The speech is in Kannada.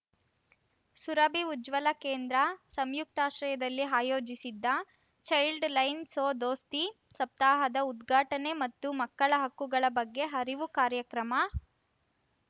ಸುರಭಿ ಉಜ್ವಲ ಕೇಂದ್ರ ಸಂಯುಕ್ತಾಶ್ರಯದಲ್ಲಿ ಆಯೋಜಿಸಿದ್ದ ಚೈಲ್ಡ್‌ ಲೈನ್‌ ಸೋ ದೋಸ್ತಿ ಸಪ್ತಾಹದ ಉದ್ಘಾಟನೆ ಮತ್ತು ಮಕ್ಕಳ ಹಕ್ಕುಗಳ ಬಗ್ಗೆ ಅರಿವು ಕಾರ್ಯಕ್ರಮ